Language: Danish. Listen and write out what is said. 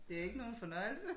Det ikke nogen fornøjelse